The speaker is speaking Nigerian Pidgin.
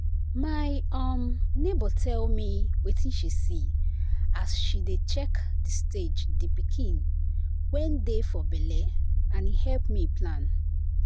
my um neighbour tell me wetin she see as she dey check the stage the pikin wen dey for belle and e help me plan.